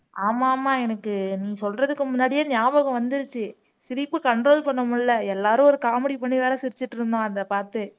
ஆமா ஆமா எனக்கு நீ சொல்றதுக்கு முன்னாடியே ஞாபகம் வந்துருச்சு சிரிப்பு control பண்ண முடியலை எல்லாரும் ஒரு comedy பண்ணி வேற சிரிச்சிட்டு இருந்தோம் அத பார்த்து